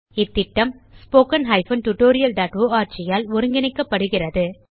இந்த திட்டம் httpspoken tutorialorg ஆல் ஒருங்கிணைக்கப்படுகிறது